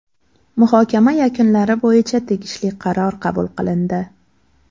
Muhokama yakunlari bo‘yicha tegishli qaror qabul qilindi.